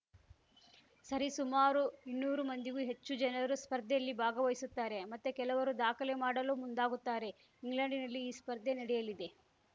ಸರಿಸುಮಾರು ಇನ್ನೂರು ಮಂದಿಗೂ ಹೆಚ್ಚು ಜನರು ಸ್ಪರ್ಧೆಯಲ್ಲಿ ಭಾಗವಹಿಸುತ್ತಾರೆ ಮತ್ತೆ ಕೆಲವರು ದಾಖಲೆ ಮಾಡಲು ಮುಂದಾಗುತ್ತಾರೆ ಇಂಗ್ಲೆಂಡಿನಲ್ಲಿ ಈ ಸ್ಪರ್ಧೆ ನಡೆಯಲಿದೆ